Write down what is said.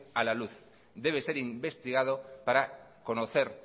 a la luz debe ser investigado para conocer